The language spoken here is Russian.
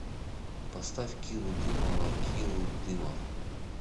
поставь киру дымова киру дымов